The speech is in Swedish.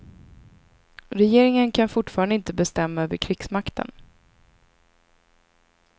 Regeringen kan fortfarande inte bestämma över krigsmakten.